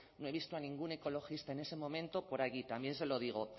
no he visto a ningún ecologista en ese momento por allí también se lo digo